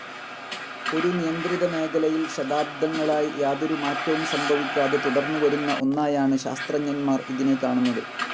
ഒരു നിയന്ത്രിതമേഖലയിൽ ശതാബ്ദങ്ങളായി യാതൊരുമാറ്റവും സംഭവിക്കാതെ തുടർന്നുവരുന്ന ഒന്നായാണ് ശാസ്ത്രജ്ഞർമാർ ഇതിനെ കാണുന്നത്.